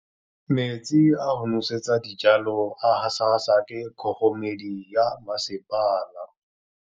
Metsi a go nosetsa dijalo a gasa gasa ke kgogomedi ya masepala.